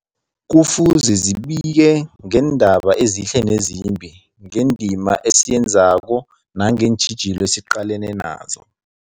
Kufuze zibike ngeendaba ezihle nezimbi, ngendima esiyenzako nangeentjhijilo esiqalene nazo.